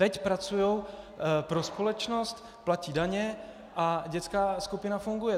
Teď pracují pro společnost, platí daně a dětská skupina funguje.